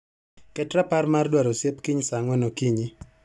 Ket rapar mar dwar osiep kiny saa ang'wen okinyi.